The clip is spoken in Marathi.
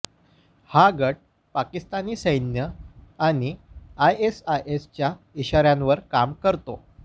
हा गट पाकिस्तानी सैन्य आणि आयएसआयच्या इशाऱ्यांवर काम करतो